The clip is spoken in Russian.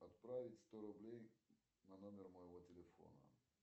отправить сто рублей на номер моего телефона